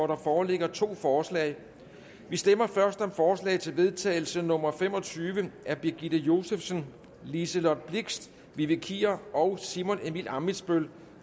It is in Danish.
der foreligger to forslag vi stemmer først om forslag til vedtagelse nummer v fem og tyve af birgitte josefsen liselott blixt vivi kier og simon emil ammitzbøll